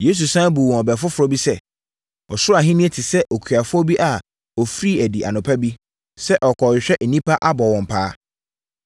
Yesu sane buu wɔn ɛbɛ foforɔ bi sɛ, “Ɔsoro Ahennie te sɛ okuafoɔ bi a ɔfirii adi anɔpa bi, sɛ ɔrekɔhwehwɛ nnipa abɔ wɔn paa.